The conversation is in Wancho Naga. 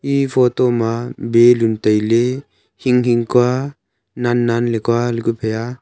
e photo ma balloon tai ley hing hing kua nan nan kua.